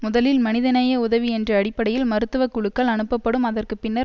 முதலில் மனிதநேய உதவி என்ற அடிப்படையில் மருத்துவ குழுக்கள் அனுப்பப்படும் அதற்கு பின்னர்